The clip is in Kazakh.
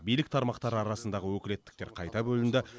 билік тармақтары арасындағы өкілеттіктер қайта бөлінді